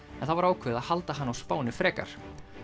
en það var ákveðið að halda hana á Spáni frekar